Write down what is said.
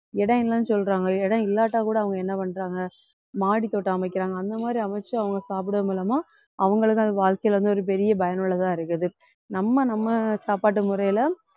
இடம் இல்லைன்னு சொல்றாங்க இடம் இல்லாட்டா கூட அவங்க என்ன பண்றாங்க மாடித் தோட்டம் அமைக்கிறாங்க அந்த மாதிரி அமைத்து அவங்க சாப்பிடுறது மூலமா அவங்களுக்கு அது வாழ்க்கையில வந்து ஒரு பெரிய பயனுள்ளதா இருக்குது நம்ம நம்ம சாப்பாட்டு முறையில